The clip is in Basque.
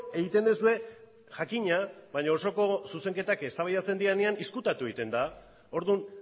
egiten duzue jakina baina osoko zuzenketak eztabaidatzen direnean ezkutatu egiten da orduan